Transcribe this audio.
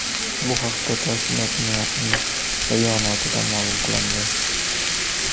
Bu haqda tashkilotning rasmiy bayonotida ma’lum qilindi .